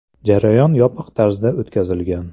Jarayon yopiq tarzda o‘tkazilgan.